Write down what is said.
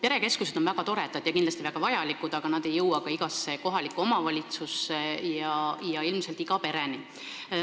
Perekeskused on väga toredad ja kindlasti vajalikud, aga need ei jõua igasse kohalikku omavalitsusse ja ilmselt ka mitte iga pereni.